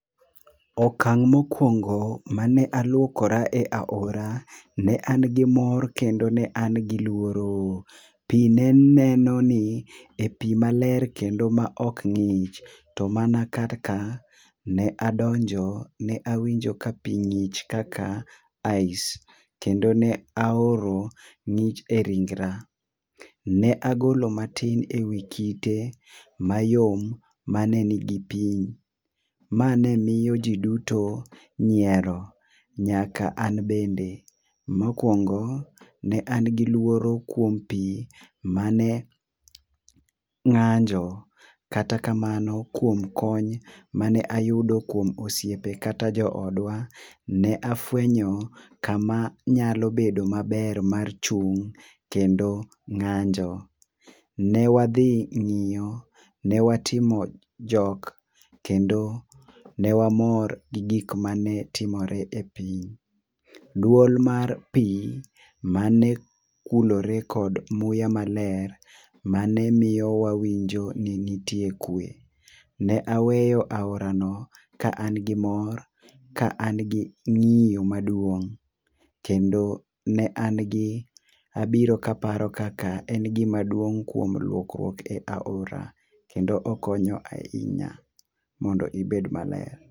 Okang' ma okuongo ma ne aluokora e aora ne an gi mor kendo ne an gi luoro. Pi ne neno ni a e pi ma ler kendo ma ne ok ng'ich, to manan kaka ned adonjo en awinjo ka pi ngich mkaka ice. Kendo ne aoro ng'ich e ringre ne agolo ma tis e kidi ma yom ma ne nni gi pi ma ne miyo ji duto nyiero nyaka an bende .Mokuongo ne an gi luoro kuom pi ma ne ng'anjo kata kamano kuom kony ma ne ayudo kuom osiepe kata jo odwa ne afwenyo kama anyalo bedo ma ber mar chung' kendo ng'anjo. Ne wadhi ng'iyo, ne watimo jok kendo ne wamor gi gik ma ne timore e pi. Duol mar pi ma ne kulore kod muya ma ler ma ne nmiyo wawinjo ni nitie kwe. Ne aweyo aora ka an gimor ka an gi ng'iyo maduong' kendo ne an abiro ka aparo kaka en gi maduong' kuom luokruok e aora kendo okonya ahinya mondo ibed maler.